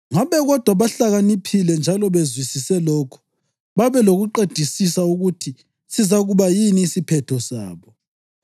Ngabe kodwa bahlakaniphile njalo bezwisise lokhu, babe lokuqedisisa ukuthi sizakuba yini isiphetho sabo!